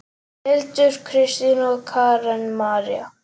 Hildur, Kristín og Karen María.